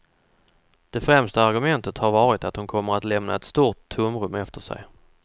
Det främsta argumentet har varit att hon kommer att lämna ett stort tomrum efter sig.